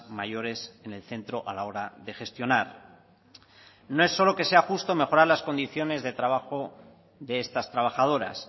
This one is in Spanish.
mayores en el centro a la hora de gestionar no es solo que sea justo mejorar las condiciones de trabajo de estas trabajadoras